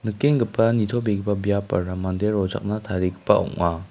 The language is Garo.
nitobegipa biapara mande rochakna tarigipa ong·a.